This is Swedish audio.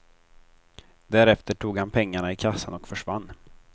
Därefter tog han pengarna i kassan och försvann.